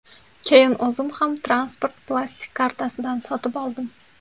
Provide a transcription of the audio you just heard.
Keyin o‘zim ham transport plastik kartasidan sotib oldim.